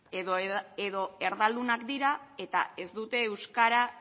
edo erdaldunak dira eta ez dute euskara